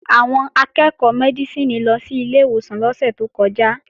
Àwọn akẹ́ẹ̀kọ́ Mẹ́dísìnì lọ sí ilé ìwòsàn lọ́sẹ̀ tó kọjá